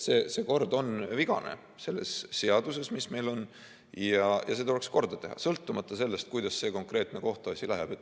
See kord selles seaduses on vigane, mis meil on, ja see tuleks korda teha, sõltumata sellest, kuidas see konkreetne kohtuasi läheb.